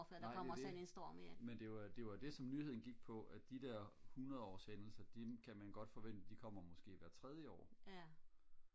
nej det er det men det var jo det var jo det som nyheden gik på at de der hundrede års hændelser de kommer måske hvert tredje år